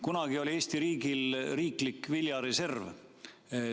Kunagi oli Eesti riigil riiklik viljareserv.